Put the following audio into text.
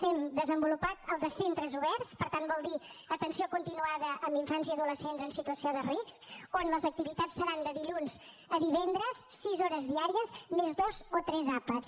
hem desenvolupat el de centres oberts per tant vol dir atenció continuada a infants i adolescents en situació de risc on les activitats seran de dilluns a divendres sis hores diàries més dos o tres àpats